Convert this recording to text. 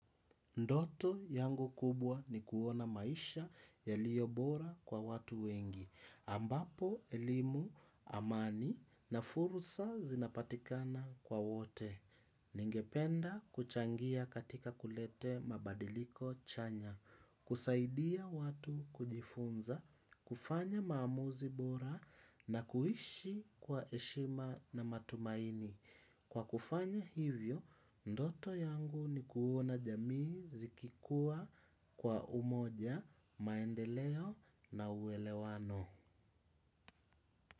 Ndoto yangu kubwa ni kuona maisha yaliyo bora kwa watu wengi, ambapo elimu amani na furusa zinapatikana kwa wote. Ningependa kuchangia katika kulete mabadiliko chanya, kusaidia watu kujifunza, kufanya maamuzi bora na kuishi kwa heshima na matumaini. Kwa kufanya hivyo, ndoto yangu ni kuona jamii zikikua kwa umoja maendeleo na uelewano.